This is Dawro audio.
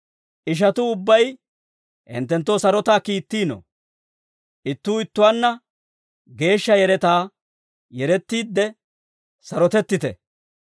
Ishatuu ubbay hinttenttoo sarotaa kiittiino. Ittuu ittuwaanna geeshsha yeretaa yerettiidde sarotettite.